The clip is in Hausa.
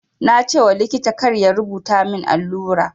Na ce wa likita kar ya rubuta min allura.